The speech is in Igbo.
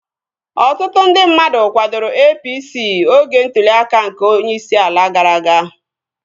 Ọtụtụ ndị mmadụ kwadoro APC oge ntụli aka nke onyeisi ala gara aga